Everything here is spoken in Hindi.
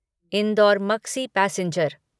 indoor Maksi passenger